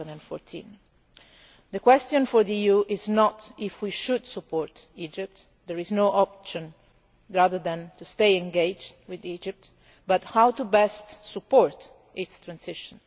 2014. The question for the EU is not whether we should support Egypt there is no other option but to stay engaged with Egypt but how best to support its transition.